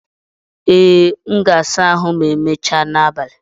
Ee, m ga-asa ahụ ma emechaa n'abalị.